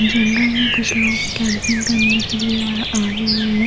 जंगल मे कुछ लोग कुछ कैंपिंग करने के लिए अ आये हुए है ।